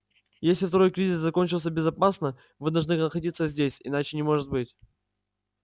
если второй кризис закончился безопасно вы должны находиться здесь иначе не может быть